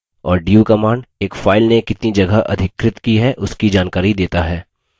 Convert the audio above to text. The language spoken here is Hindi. और du command एक file ने कितनी जगह अधिकृत की है उसकी जानकारी देता है